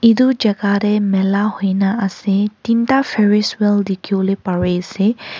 edu jaka tae mala hoina ase teen ta Faris wel dikhi wo parease.